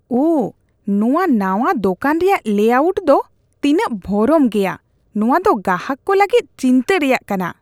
ᱳᱦ, ᱱᱚᱶᱟ ᱱᱟᱶᱟ ᱫᱳᱠᱟᱱ ᱨᱮᱭᱟᱜ ᱞᱮ-ᱟᱣᱩᱴ ᱫᱚ ᱛᱤᱱᱟᱹᱜ ᱵᱷᱚᱨᱚᱢ ᱜᱮᱭᱟ ᱾ ᱱᱚᱶᱟ ᱫᱚ ᱜᱟᱦᱟᱠ ᱠᱚ ᱞᱟᱹᱜᱤᱫ ᱪᱤᱱᱛᱟᱹ ᱨᱮᱭᱟᱜ ᱠᱟᱱᱟ ᱾